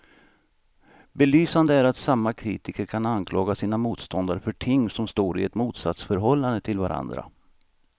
Belysande är att samma kritiker kan anklaga sina motståndare för ting som står i ett motsatsförhållande till varandra.